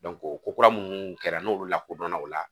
o ko kura munnu kɛra n'olu lakodɔnna o la